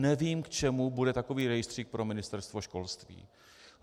Nevím, k čemu bude takový rejstřík pro Ministerstvo školství.